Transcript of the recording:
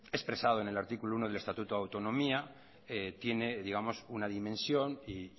expresado en el artículo uno del estatuto de autonomía tiene una dimensión y